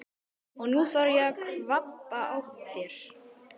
Og nú þarf ég að kvabba á þér!